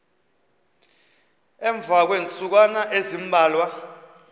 emva kweentsukwana ezimbalwa